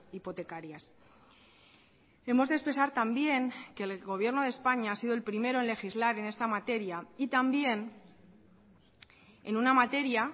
hipotecarias hemos de expresar también que el gobierno de españa ha sido el primero en legislar en esta materia y también en una materia